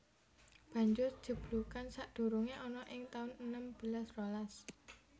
Banjur jeblugan sadurungé ana ing taun enem belas rolas